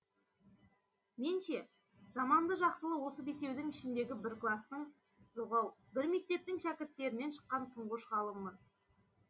мен ше жаманды жақсылы осы бесеудің ішіндегі бір кластың жоқ ау бір мектептің шәкірттерінен шыққан тұңғыш ғалыммын